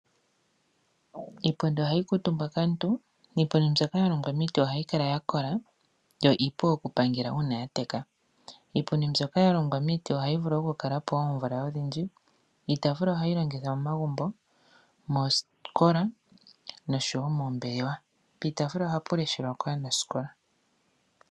Iipundi ohayi kuutumbwa kaantu. Iipundi mbyoka ya longwa miiti ohayi ya kola yo iipu okupangela uuna ya teka. Iipundi mbyoka ya longwa miiti ohayi vulu okukala po oomvula odhindji. Iitaafula ohayi longithwa momagumbo, moosikola noshowo moombelewa. Piitaafula ohapu leshelwa kaanasikola.